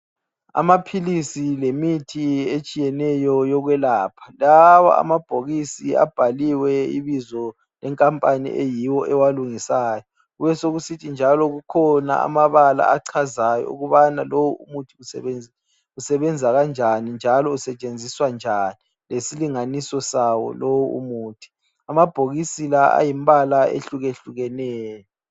Amaphilisi lemithi etshiyeneyo yokwelapha lawa amabhokisi abhaliwe ibizo lekampani eyiyo ewalungisayo kube sokusithi njalo kukhona amabala achazayo ukubana lo umuthi usebenza kanjani njalo usetshenziswa njani lesilinganiso sawo lo umuthi amabhokisi la ayimbala ehlukehlukeneyo.